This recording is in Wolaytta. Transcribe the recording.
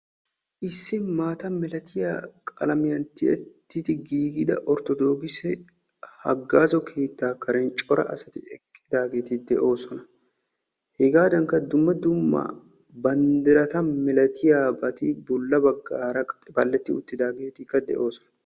issi maatta milatiya qalamiyaan tiyyettidi giigida orttodokise haggaazzo keetta karen coraa asati eqqidaageeti de'oosona. hegadankka dumma dumma banddirata milatiyaabati bolla baggaara qaxi-baleti uttidaageetikka de'oosona.